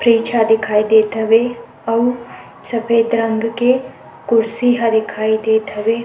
fridge ह दिखाई देत हवे आऊ सफेद रंग के कुर्सी ह दिखाई देत हवे--